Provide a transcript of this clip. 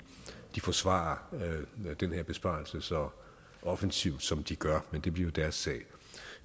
forsvarer den her besparelse så offensivt som de gør men det bliver jo deres sag